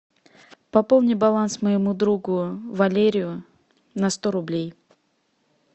пополни баланс моему другу валерию на сто рублей